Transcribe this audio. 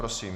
Prosím.